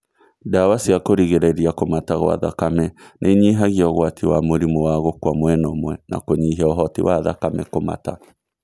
Ndawa cia kũrigĩrĩria kũmata gwa thakame nĩinyihagia ũgwati wa mũrimũ wa gũkua mwena ũmwe na kũnyihia ũhoti wa thakame kũmata